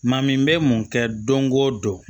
Maa min bɛ mun kɛ don go don